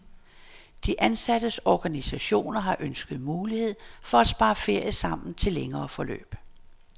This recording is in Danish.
De ansattes organisationer har ønsket mulighed for at spare ferie sammen til længere forløb.